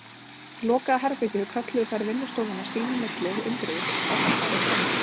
Lokaða herbergið kölluðu þær vinnustofuna sín í milli og undruðust, hvað þar færi fram.